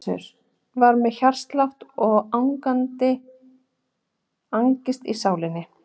Össur var með hjartslátt og nagandi angist í sálinni.